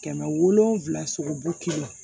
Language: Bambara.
Kɛmɛ wolonwula sogo bu kelen